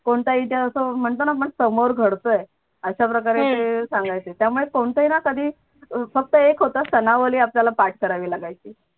कोणताही इतिहास असो आपण म्हणतो ना समोर घडतोय अशाप्रकारे ते सांगायचे त्यामुळे कोणतं ना कधी फक्त एक होत सनावली आपल्याला पाठ करावी लागायची.